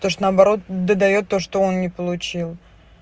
то есть наоборот до даёт то что он не получил